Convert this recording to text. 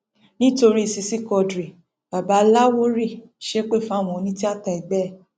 nítorí ṣíṣí quadri baba láwórì ṣépè fáwọn onítìáta ẹgbẹ ẹ